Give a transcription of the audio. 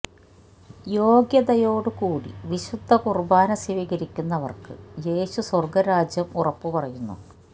യോ ഗ്യതയോടുകൂടി വിശുദ്ധ കുർബാന സ്വീകരിക്കുന്നവർക്ക് യേശു സ്വർഗരാജ്യം ഉറപ്പു പറയുന്നു